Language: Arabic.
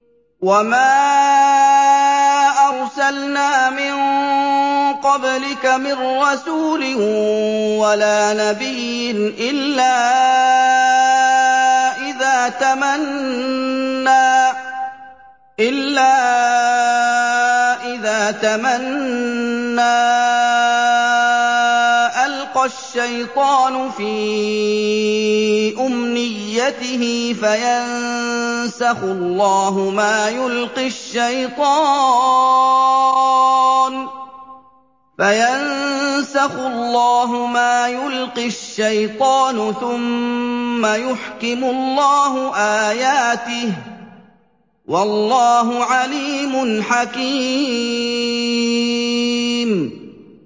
وَمَا أَرْسَلْنَا مِن قَبْلِكَ مِن رَّسُولٍ وَلَا نَبِيٍّ إِلَّا إِذَا تَمَنَّىٰ أَلْقَى الشَّيْطَانُ فِي أُمْنِيَّتِهِ فَيَنسَخُ اللَّهُ مَا يُلْقِي الشَّيْطَانُ ثُمَّ يُحْكِمُ اللَّهُ آيَاتِهِ ۗ وَاللَّهُ عَلِيمٌ حَكِيمٌ